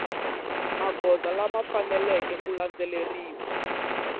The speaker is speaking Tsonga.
magoza lama faneleke ku landzeleriwa